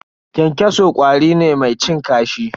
Kyankyaso ƙwari ne mai cin kashi.